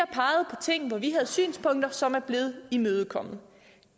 har ting hvor vi havde synspunkter som er blevet imødekommet